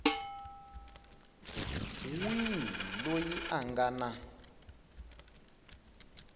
wihi loyi a nga na